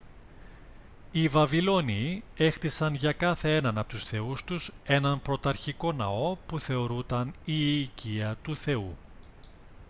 οι βαβυλώνιοι έχτισαν για κάθε έναν από τους θεούς τους έναν πρωταρχικό ναό που θεωρούταν η οικία του θεού